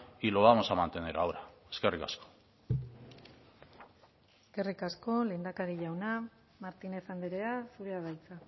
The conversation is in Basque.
y lo vamos a mantener ahora eskerrik asko eskerrik asko lehendakari jauna martínez andrea zurea da hitza